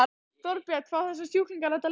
Þorbjörn: Fá þessir sjúklingar þetta lyf?